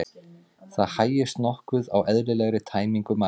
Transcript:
Það hægist nokkuð á eðlilegri tæmingu magans.